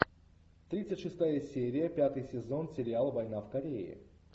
тридцать шестая серия пятый сезон сериал война в корее